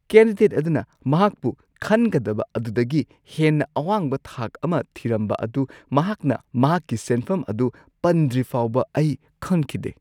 Candidate ꯑꯗꯨꯅ ꯃꯍꯥꯛꯄꯨ ꯈꯟꯒꯗꯕ ꯑꯗꯨꯗꯒꯤ ꯍꯦꯟꯅ ꯑꯋꯥꯡꯕ ꯊꯥꯛ ꯑꯃ ꯊꯤꯔꯝꯕ ꯑꯗꯨ ꯃꯍꯥꯛꯅ ꯃꯍꯥꯛꯀꯤ ꯁꯦꯟꯐꯝ ꯑꯗꯨ ꯄꯟꯗ꯭ꯔꯤ ꯐꯥꯎꯕ ꯑꯩ ꯈꯪꯈꯤꯗꯦ ꯫